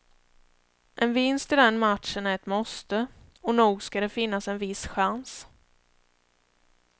En vinst i den matchen är ett måste, och nog ska det finnas en viss chans.